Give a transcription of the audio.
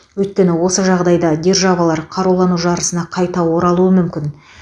өйткені осы жағдайда державалар қарулану жарысына қайта оралуы мүмкін